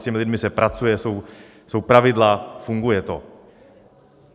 S těmi lidmi se pracuje, jsou pravidla, funguje to.